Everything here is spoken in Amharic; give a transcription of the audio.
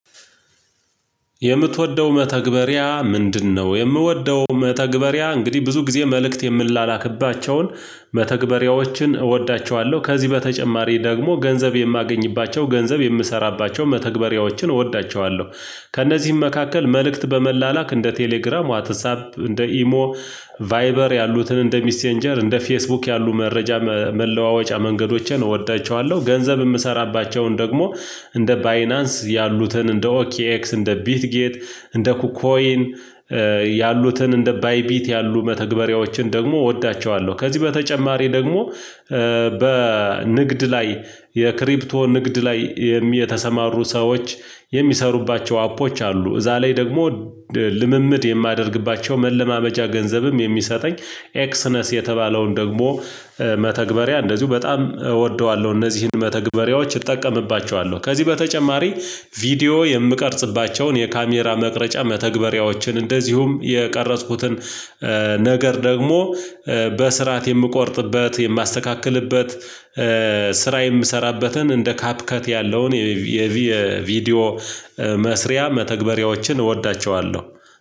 የምትወደው መተግበሪያ ምንድነው? የምወደው መተግበሪያ እንግዲህ ብዙ ጊዜ መልእክት የምንላክባቸውን መተግበሪያዎችን እወዳቸዋለሁ ከዚህ በተጨማሪ ደግሞ ገንዘብ የማገኝባቸው ገንዘብ የምሰራባቸው መተግበሪያዎችን እወዳቸዋለሁ። ከእነዚህም መካከል መልእክት በመላላክ እንደ ቴሌግራም ዋትሳፕ እንደ ኢሞ ቫይበር ያሉትን እንደ ሚሴንጀር እንደ ፌስቡክ ያሉ መረጃ መለዋወጫ መንገዶችን እወዳቸዋለሁ። ገንዘብ የምሰራባቸውን ደግሞ እንደ ባይናንስ ያሉትን እንደ ኦኬዔክስ እንደ ቢት ጌት እንደ ኩኮይን ያሉትን እንደ ባይ ቢት ያሉ መተግበሪያዎችን ደግሞ እወዳቸዋለሁ። ከዚህ በተጨማሪ ደግሞ በንግድ ላይ የክሪፕቶ ንግድ ላይ የተሰማሩ ሰዎች የሚሰሩባቸው አፖች አሉ እዛ ላይ ደግሞ ልምምድ የማደርግባቸው መለማመጃ ገንዘብም የሚሰጠኝ ኤክስነስ የተባለውን ደግሞ መተግበሪያ እንደዚሁ በጣም እወደዋለሁ። እነዚህን መተግበሪያዎች እጠቀምባቸዋለሁ። ከዚህ በተጨማሪ ቪዲዮ የምቀርጽባቸውን የካሜራ መቅረጫ መተግበሪያዎችን እንደዚሁም የቀረጽኩትን ነገር ደግሞ የምቆርጥበት የማስተካክልበት ስራ የምሰራበትን እንደ ካፕከት ያለውን የቪዲዮ መስሪያ መተግበሪያዎችን እወዳቸዋለሁ።